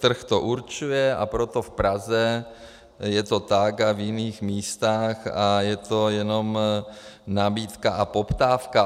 Trh to určuje, a proto v Praze je to tak a v jiných místech a je to jenom nabídka a poptávka.